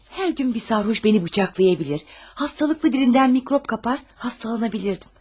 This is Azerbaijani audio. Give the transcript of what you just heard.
Hər gün bir sərxoş məni bıçaqlayabilir, hastalıqlı birindən mikrop kapar, hastalanabilirdim.